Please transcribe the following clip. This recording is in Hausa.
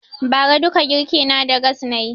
Ba ra duka girki na da gass nayi